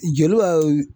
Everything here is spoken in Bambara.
Jeliw ka